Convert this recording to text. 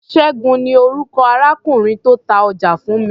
Ṣẹ́gun ni orúkọ arákùnrin tó ta ọjà fún mi.